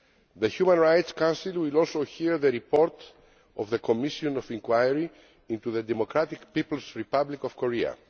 The Human Rights Council will also hear the report of the Commission of Inquiry into the Democratic People's Republic of Korea.